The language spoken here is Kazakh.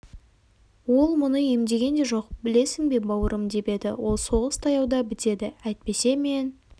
ол мұны емдеген де жоқ білесің бе бауырым деп еді ол соғыс таяуда бітеді әйтпесе мен